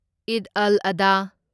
ꯑꯩꯗ ꯑꯜ ꯑꯗꯥ